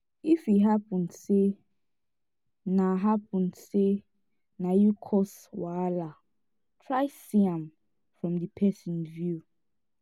if e hapun sey na hapun sey na yu cause wahala try see am from di pesin view